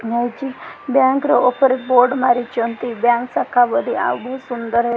ଏହା ହେଉଛି ବ୍ୟାଙ୍କ୍ ର ଉପରେ ବୋର୍ଡ ମାରିଛନ୍ତି ବ୍ୟାଙ୍କ୍ ଶାଖା ବୋଲି ଆଉ ବହୁତ୍ ସୁନ୍ଦର୍ ହେ --